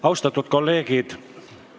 Austatud kolleegid!